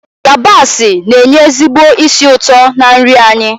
yabasị na-enye ezigbo ísì ụtọ na nri anyị